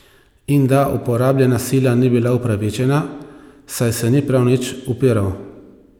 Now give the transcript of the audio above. In da uporabljena sila ni bila upravičena, saj se ni prav nič upiral.